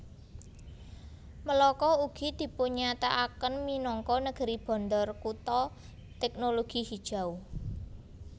Melaka ugi dipunnyatakaken minangka Negeri Bandar Kutha Teknologi Hijau